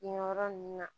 Nin yɔrɔ ninnu na